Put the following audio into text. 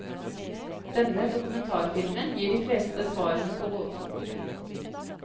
Denne dokumentarfilmen gir de fleste svarene på gåten.